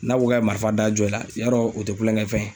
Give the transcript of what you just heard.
N'a ko k'a ye marifa da jɔ i la, yarɔ o tɛ kulonkɛ fɛn ye.